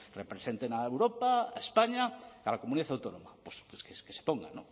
representen a europa a españa a la comunidad autónoma pues que se pongan